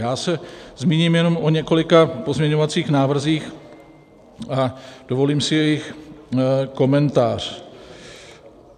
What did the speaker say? Já se zmíním jenom o několika pozměňovacích návrzích a dovolím si jejich komentář.